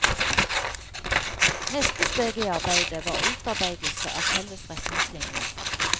Neste steg i arbeidet var utarbeidelse av felles retningslinjer.